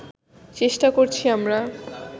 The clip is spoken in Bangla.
চেষ্টা করছি আমরা